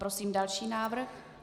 Prosím další návrh.